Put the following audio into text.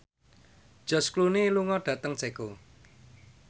George Clooney lunga dhateng Ceko